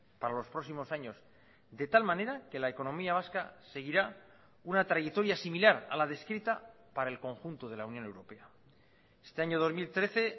para los próximos años de tal manera que la economía vasca seguirá una trayectoria similar a la descrita para el conjunto de la unión europea este año dos mil trece